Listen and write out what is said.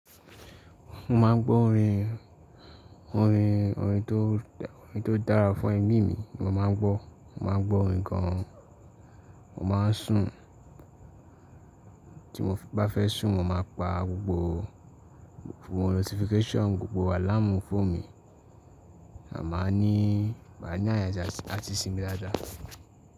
Mo máa ń gbọ́ orin, orin, orin tó, orin tó dára fún ẹmí mi mo máa ń gbọ́. Mo máa ń gbọ́ orin kan, mo máa ń sùn. Tí mo bá fẹ́ sùn mo máa pa gbogbo notification, gbogbo alarm fún mi. A máa ní, wa ní àyè láti sùn mí dáadáa.